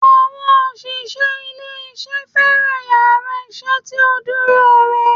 Àwọn òṣìṣẹ́ ilé isé fẹ́ràn yàrá isé tí ó dúró re